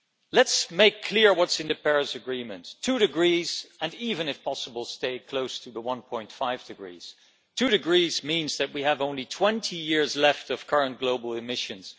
Let us make clear what is in the Paris Agreement two degrees and even if possible stay close to the one point five degrees. Two degrees means that we have only 20 years left of current global emissions.